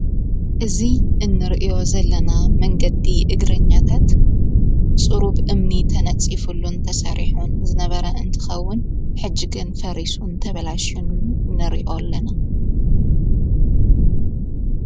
እዙ እንርእዮ ዘለና መንገቲ እግርኛታት ጽሩብ እምኒ ተነጺፉሉእን ተሣሪሑን ዝነበራ እንትኸውን ሕጅገን ፈሪሱን ተበላሹ ነርእኦ ኣለና።